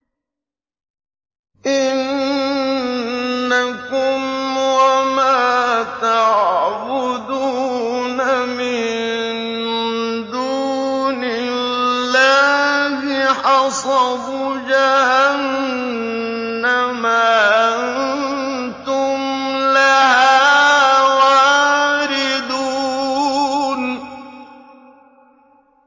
إِنَّكُمْ وَمَا تَعْبُدُونَ مِن دُونِ اللَّهِ حَصَبُ جَهَنَّمَ أَنتُمْ لَهَا وَارِدُونَ